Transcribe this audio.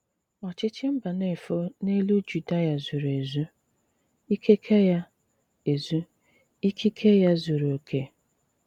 Òchìchì Mbànéfò n’èlù Jùdìà zùrù èzù; ìkikè ya, èzù; ìkikè ya, zùrù òkè.